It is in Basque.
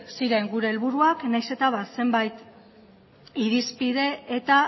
ziren gure helburuak nahiz eta ba zenbait irizpide eta